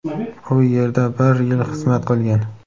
U yerda bir yil xizmat qilgan.